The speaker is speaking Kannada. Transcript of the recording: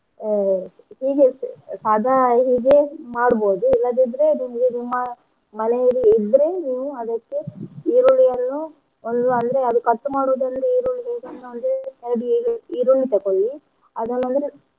ಅಹ್ ಹೀಗೆ ಸಾದಾ ಹೀಗೆ ಮಾಡ್ಬೋದು ಇಲ್ಲದಿದ್ರೆ ಮ~ ಮನೇಲಿ ಇದ್ರೆ ನೀವು ಅದಕ್ಕೆ ಈರುಳ್ಳಿಯನ್ನು ಒಂದು ಅಂದ್ರೆ ಅದ್ cut ಮಾಡೋದ್ ಅಂದ್ರೆ ಈರುಳ್ಳಿ ಹೇಗಂದ್ರೆ ಎರಡ್ ಈರುಳ್ಳಿ ತಕ್ಕೊಳಿ ಅದನ್ ಅಂದ್ರೆ.